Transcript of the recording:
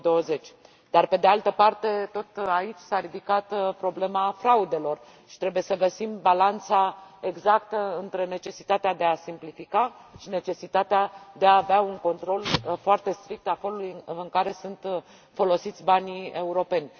2020. Pe de altă parte, tot aici s a ridicat problema fraudelor și trebuie să găsim balanța exactă între necesitatea de a simplifica și necesitatea de a avea un control foarte strict al felului în care sunt folosiți banii europeni.